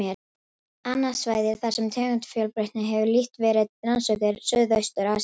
Annað svæði, þar sem tegundafjölbreytni hefur lítt verið rannsökuð, er Suðaustur-Asía.